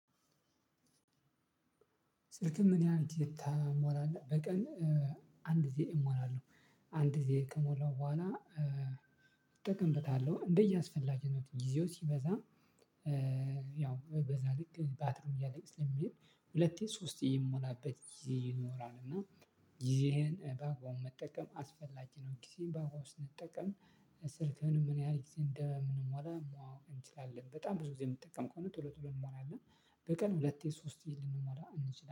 ስልክህን ምን ያህል ግዜ ታሞላህ በቀን? አንድ ግዜ እሞላለሁው አንድ ግዜ ከሞላው በኋላ እጠቀምበታለሁ እንደ የአስፈላግነቱ ጊዜው ሲበዛ። ያው በዛ ልክ ባትሪው እያለቀ ስለሚሄድ ሁለቴ ሶስቴ የምሞላበት ጊዜ ይኖራል። እና ጊዜህን በአግባቡ መጠቀም አስፈላጊ ነው። ጊዜህን በአግባቡ ስንጠቀም ስልክህንም ምን ያህል ጊዜ እንደምንሞላ ማወቅ እንችላለን። በጣም ብዙ ጊዜ የምጠቀም ከሆነ ቶሎ ቶሎ እንሞላለን በቀን ሁለቴ ሶስቴ ልንሞላ እንችላለን